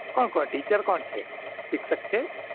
કોણ કોણ Teacher કોણ છે શિક્ષક છે